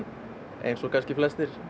eins og kannski flestir